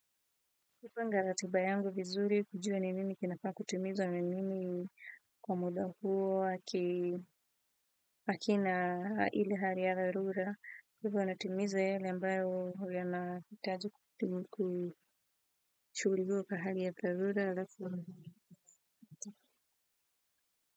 Kupanga ratiba yangu vizuri kujua ni nini kinafaa kutimizwa ni nini kwa muda huo akina ile hali ya dharura. Kwa hivyo natimiza yale ambayo yanahitaji kushughulikiwa kwa hali ya dharura halafu.